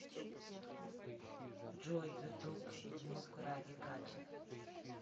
джой ютуб внук ради кача